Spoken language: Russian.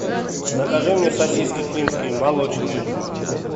закажи мне сосиски клинские молочные